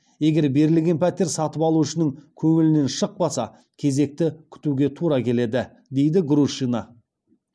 егер берілген пәтер сатып алушының көңілінен шықпаса кезекті күтуге тура келеді дейді грушина